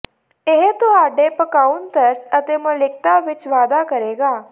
ਇਹ ਤੁਹਾਡੇ ਪਕਾਉਣਾ ਤਰਸ ਅਤੇ ਮੌਲਿਕਤਾ ਵਿੱਚ ਵਾਧਾ ਕਰੇਗਾ